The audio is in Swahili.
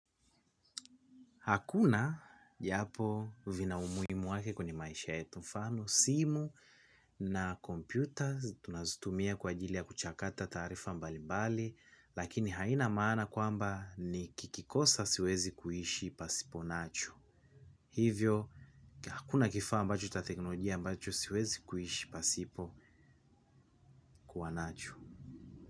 Hakuna japo vina umuhimu wake kwenye maisha yetu mfano, simu na kompyutas, tunazutumia kwa ajilia kuchakata taarifa mbali mbali, lakini haina maana kwamba ni kikikosa siwezi kuhishi pasipo nacho. Hivyo, hakuna kifaa ambacho cha teknolojia ambacho siwezi kuhishi pasipo kuwa nacho.